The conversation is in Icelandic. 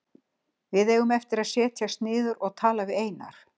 Við eigum eftir að setjast niður og tala við Einar.